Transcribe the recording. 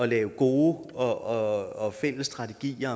lave gode og fælles strategier